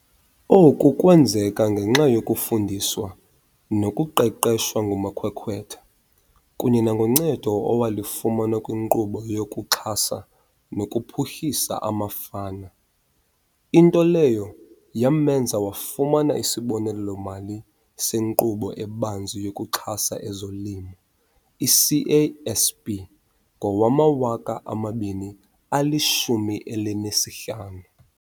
Oku kwenzeka ngenxa yokufundiswa nokuqeqeshwa ngumakhwekhwetha kunye nangoncedo awalifumana kwiNkqubo yokuXhasa nokuPhuhlisa amaFama, into leyo yamenza wafumana isibonelelo-mali seNkqubo eBanzi yokuXhasa ezoLimo, i-CASP, ngowama-2015.